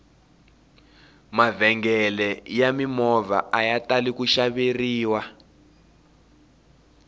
mavhengele ya mimovha aya tali ku xaveriwa